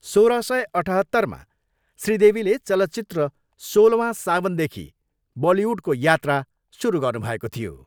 सोह्र सय अठहत्तरमा श्री देवीले चलचित्र सोलवा सावनदेखि बलिवुडको यात्रा सुरु गर्नुभएको थियो।